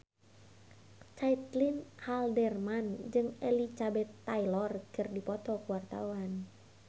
Caitlin Halderman jeung Elizabeth Taylor keur dipoto ku wartawan